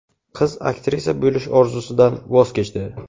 Qiz aktrisa bo‘lish orzusidan voz kechdi.